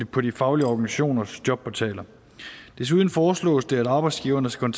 på de faglige organisationers jobportaler desuden foreslås det at arbejdsgiverne skal